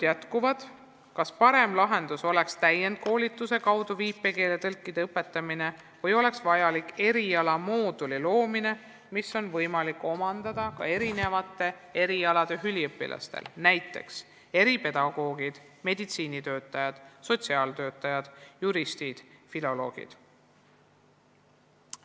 Jätkuvad arutelud, kas parem lahendus oleks täienduskoolituse kaudu viipekeeletõlkide õpetamine või oleks vaja luua erialamoodul, mille võivad läbida erinevate erialade üliõpilased – näiteks eripedagoogid, meditsiinitöötajad, sotsiaaltöötajad, juristid, filoloogid.